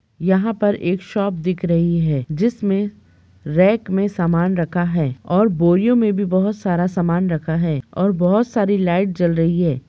यहाँ पर एक शॉप दिख रही है जिसमे रैक मे सामान रखा है और बोरियो मे भी बहुत सारा सामान रखा है और बोहत सारी लाइट जल रही है।